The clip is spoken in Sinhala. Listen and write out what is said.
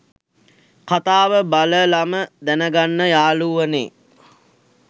කතාව බලලම දැනගන්න යාළුවනේ